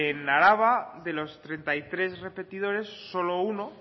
en araba de los treinta y tres repetidores solo uno